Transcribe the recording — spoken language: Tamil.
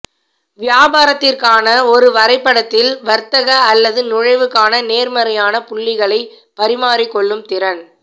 வியாபாரத்திற்கான ஒரு வரைபடத்தில் வர்த்தக அல்லது நுழைவுக்கான நேர்மறையான புள்ளிகளை பரிமாறிக்கொள்ளும் திறன்